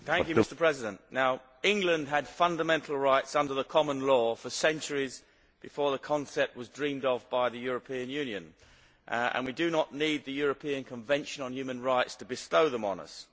Mr President, England had fundamental rights under the common law for centuries before the concept was dreamed of by the European Union, and we do not need the European Convention on Human Rights to bestow them on us.